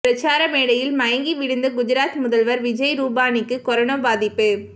பிரசார மேடையில் மயங்கி விழுந்த குஜராத் முதல்வர் விஜய் ரூபானிக்கு கொரோனா பாதிப்பு